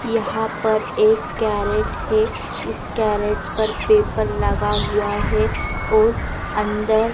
यहां पर एक कैरेट है इस कैरेट पर पेपर लगा हुआ है और अंदर--